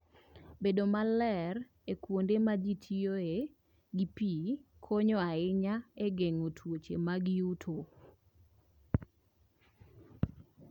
Bedo maler e kuonde ma ji tiyoe gi pi konyo ahinya e geng'o tuoche mag yuto.